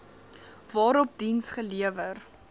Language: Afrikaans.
waarop diens gelewer